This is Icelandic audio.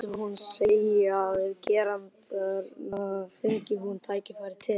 Hvað myndi hún segja við gerendurna, fengi hún tækifæri til?